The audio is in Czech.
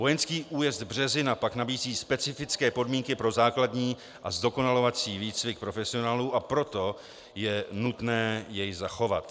Vojenský újezd Březina pak nabízí specifické podmínky pro základní a zdokonalovací výcvik profesionálů, a proto je nutné jej zachovat.